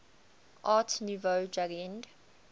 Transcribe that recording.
art nouveau jugend